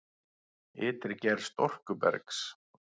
Ytri gerð storkubergs